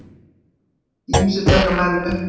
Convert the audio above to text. Ýmsu taka menn upp á.